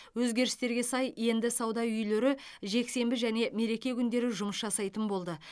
өзгерістерге сай енді сауда үйлері жексенбі және мереке күндері жұмыс жасайтын болды